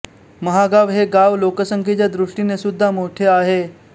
महागाव हे गाव लोकसंख्येच्या दृष्टीने सुद्धा मोठे आहे